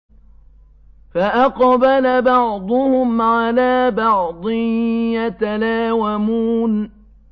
فَأَقْبَلَ بَعْضُهُمْ عَلَىٰ بَعْضٍ يَتَلَاوَمُونَ